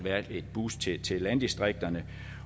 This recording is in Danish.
et boost til til landdistrikterne